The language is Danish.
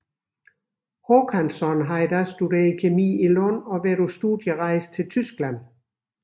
Håkansson havde da studeret kemi i Lund og været på studierejse til Tyskland